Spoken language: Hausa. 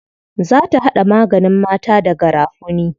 Za ta haɗa maganin mata da garafuni.